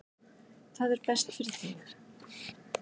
Það er best fyrir þig.